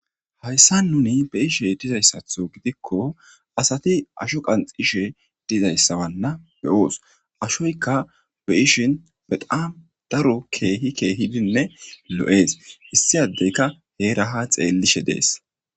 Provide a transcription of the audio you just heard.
Hayssa nuni be'ishe dizayssatho gidikko asati asho qanxishe dizayssawanna be oos ashoyka be ishin beqaam daro keehi keehidinne lo7ees issi addeyka hee raha xeellishe dees.